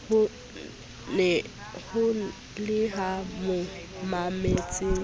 ho le ba mo mametseng